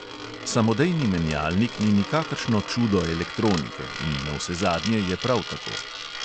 Samodejni menjalnik ni nikakršno čudo elektronike in navsezadnje je prav tako.